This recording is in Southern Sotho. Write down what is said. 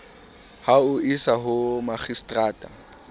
ho o isa ho makgistrata